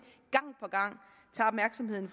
gang